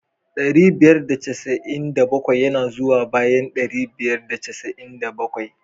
Dari biyar da casa'in da bakwai yana zuwa bayan dari biyar da casa'in da bakwai.